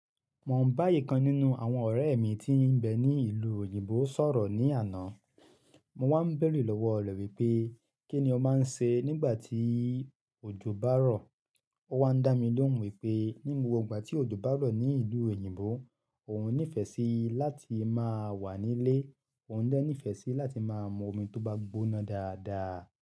Mo ń bá ìkan nínú àwọn ọ̀rẹ́ mi tí ń bẹ ní ìlú òyìnbó sọ̀rọ̀ ní àná. Mo wá ń bèèrè lọ́wọ́ ọ̀rẹ́ pé kí ni ó máa ń ṣe nígbà tí òjò bá rọ̀. Ó wá ń dá mi lóhùn wípé ní gbogbo ìgbà tí òjò bá rọ̀ ní ìlú òyìnbó, òun ní ìfẹ́ sí láti máa wà nílé, òun dá ní ìfẹ́ sí láti máa mú omi tó bá gbóná dáadáa.